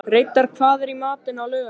Reidar, hvað er í matinn á laugardaginn?